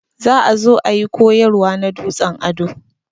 Za ã zo ã yi koyarwa na dutsen ado.